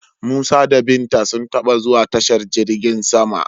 Musa da Binta sun taba zuwa tashar jirgin sama.